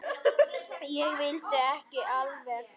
Ég veit ekki alveg.